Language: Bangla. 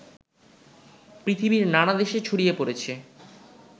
পৃথিবীর নানা দেশে ছড়িয়ে পড়েছে